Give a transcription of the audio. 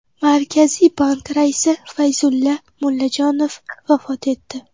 Markaziy bank raisi Fayzulla Mullajonov vafot etdi.